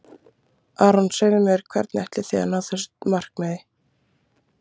Aron segðu mér, hvernig ætlið þið að ná þessu markmiði?